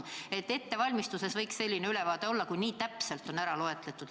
Võiks selline ülevaade olla, kui nii täpselt on nende laste arv kokku loetud.